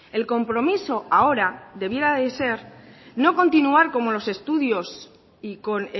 el compromiso ahora debiera de ser no continuar como los estudios y con